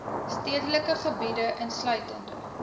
stedelike gebiede insluitende